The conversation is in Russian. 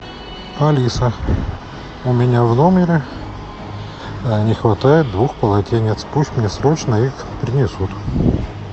алиса у меня в номере не хватает двух полотенец пусть мне срочно их принесут